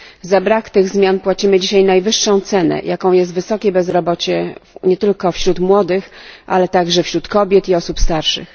Za brak tych zmian płacimy dzisiaj najwyższą cenę, jaką jest wysokie bezrobocie, nie tylko wśród ludzi młodych, ale także wśród kobiet i osób starszych.